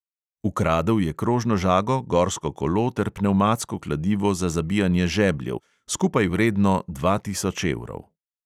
Ukradel je krožno žago, gorsko kolo ter pnevmatsko kladivo za zabijanje žebljev, skupaj vredno dva tisoč evrov.